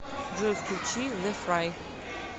джой включи зэ фрай